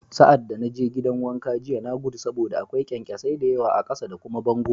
Sa'ad da na je gidan wanka jiya, na gudu saboda akwai kyankyasai da yawa a ƙasa da kuma bango